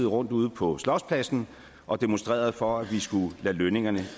rundt ude på slotspladsen og demonstrerede for at vi skulle lade lønningerne